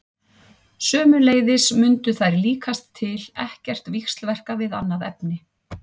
Sömuleiðis mundu þær líkast til ekkert víxlverka við annað efni.